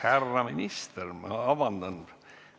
Härra minister, ma palun vabandust!